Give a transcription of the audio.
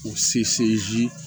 O seye